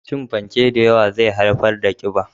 Cin fanke da yawa zai haifar da ƙiba.